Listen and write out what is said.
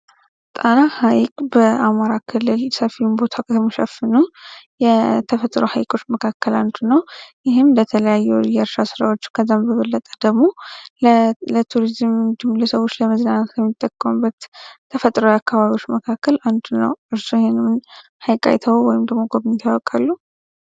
ጣና ሀይቅ በአማራ ክልል ሰፊውን ቦታ ከሚሸፍኑ የተፈጥሮ ሀይቆች መካከል ንነዱ ነው ይህም በተለያዩ የእርሻ ስራዎች ከዛም በበለጠ ደግሞ ለቱሪዝም እንዲሁም ለሰዎች ለመዝናናት ከሚጠቀሙበት ተፈጥሯዊ ሀይቆች መካከል አንዱ ነው። እርስዎ ይህንን ሀይቅ አይተው ወይም ደግሞ ጎብኝተው ያውቃሉ?